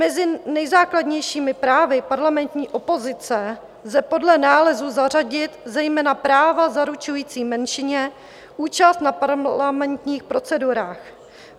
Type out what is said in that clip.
Mezi nejzákladnějšími právy parlamentní opozice lze podle nálezu zařadit zejména práva zaručující menšině účast na parlamentních procedurách.